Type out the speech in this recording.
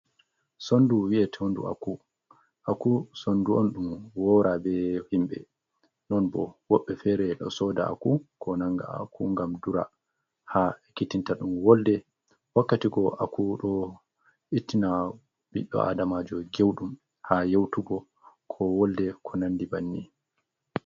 Sondu wi'e tondu aku. Aku sondu on ɗum wora ɓe himɓe, non bo wobbe fere ɗo soda aku ko nanga aku ngam dura ha ekitinta ɗum wolde wakkatikgo aku ɗo ittina biɗɗo adamajo gewdum ha yautugo, ko wolde, ko nandi banni.